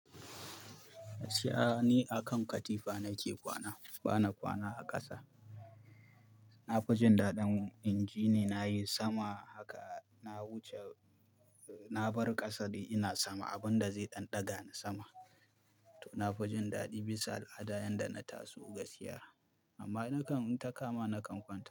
Gaskiya ni akan katifa nake kwana, bana kwana a ƙasa. Na fi jin daɗin inji ni nayi sama haka na wuce, na bar ƙasa dai ina sama abinda zai ɗanɗaga ni sama. To na fi jin daɗi bisa al'ada yanda na taso gaskiya. Amma nakan in takama nakan kwana.